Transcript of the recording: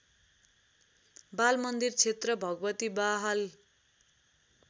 बालमन्दिर क्षेत्र भगवतीबहाल